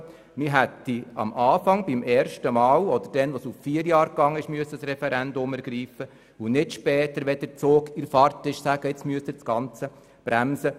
Man hätte am Anfang, also beim ersten Mal, oder später, als wir es auf vier Jahre ausweiteten, das Referendum ergreifen müssen und nicht erst später – als der Zug bereits in Fahrt war – sagen sollen, nun müsse man das Ganze bremsen.